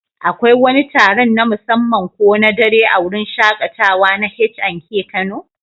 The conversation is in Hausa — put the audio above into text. Akwai wani taron na musamman ko na dare a wurin shaƙatawa na H&K Kano?